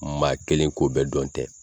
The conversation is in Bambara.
Maa kelen ko bɛɛ dɔn tɛ.